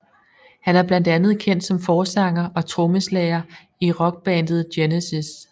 Han er blandt andet kendt som forsanger og trommeslager i rockbandet Genesis